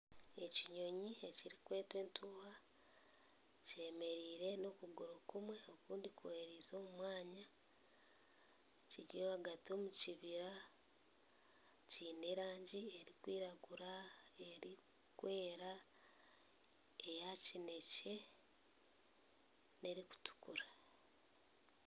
Ekinyonyi ekirikwetwa entuuha kyemereire n'okuguru kumwe okundi kwerereize omu mwanya kiri ahagati omu kibira. Kiine erangi erikwiragura n'erikwera, eya kinekye n'erikutukura.